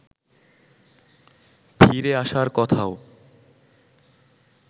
ফিরে আসার কথাও